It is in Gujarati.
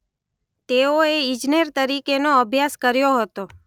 તેઓએ ઇજનેર તરીકેનો અભ્યાસ કર્યો હતો.